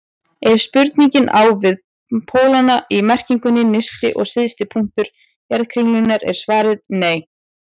Ef spurningin á við pólana í merkingunni nyrsti og syðsti punktur jarðkringlunnar er svarið nei.